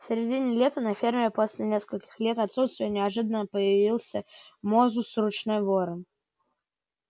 в середине лета на ферме после нескольких лет отсутствия неожиданно появился мозус ручной ворон